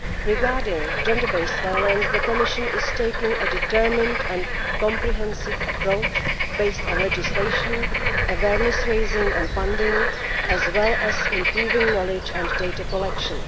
Regarding gender based violence, the Commission is taking a determined and comprehensive approach based on legislation, awareness raising and funding, as well as improving knowledge and data collection.